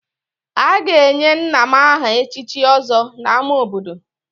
A ga-enye nna m aha echichi Ọzọ n'ámá obodo